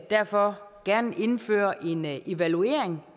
derfor gerne indføre en evaluering